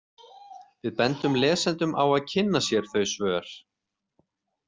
Við bendum lesendum á að kynna sér þau svör.